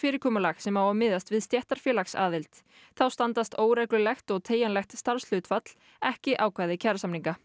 yfirgreiðslufyrirkomulag sem á að miðast við stéttarfélagsaðild þá standist óreglulegt og teygjanlegt starfshlutfall ekki ákvæði kjarasamninga